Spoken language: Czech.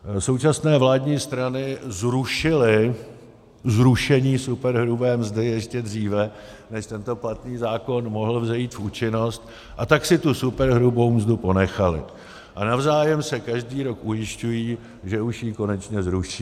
Současné vládní strany zrušily zrušení superhrubé mzdy ještě dříve, než tento platný zákon mohl vzejít v účinnost, a tak si tu superhrubou mzdu ponechaly a navzájem se každý rok ujišťují, že už ji konečně zruší.